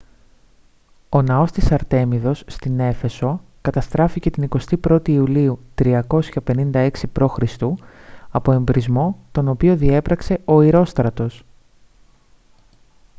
ο ναός της αρτέμιδος στην έφεσο καταστράφηκε την 21η ιουλίου 356 π.χ. από εμπρησμό τον οποίο διέπραξε ο ηρόστρατος